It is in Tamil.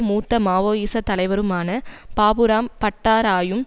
மூத்த மாவோயிச தலைவருமான பாபுராம் பட்டாராயும்